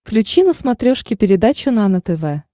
включи на смотрешке передачу нано тв